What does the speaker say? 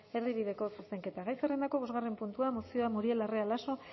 erdibideko zuzenketa gai zerrendako bosgarren puntua mozioa muriel larrea laso